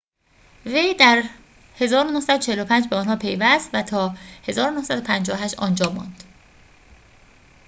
وی در ۱۹۴۵ به آن‌ها پیوست و تا ۱۹۵۸ آنجا ماند